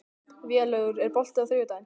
Vélaugur, er bolti á þriðjudaginn?